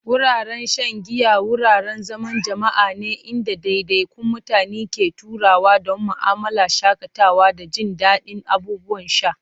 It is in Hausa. Wuraren shan giya wuraren zaman jama'a ne inda ɗaiɗaikun mutane ke taruwa don mu'amala, shakatawa, da jin daɗin abubuwan sha.